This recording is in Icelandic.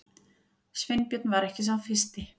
Sveinbjörn var ekki sá fyrsti.